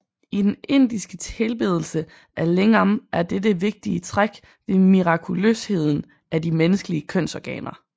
I den indiske tilbedelse af lingam er dette vigtige træk ved mirakuløsheden af de menneskelige kønsorganer